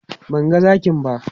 Ban ga zakin ba.